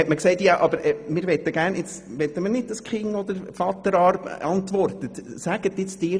Wir sagten, wir möchten gerne, dass nicht die Kinder oder der Mann antworten, sondern die Frau selber.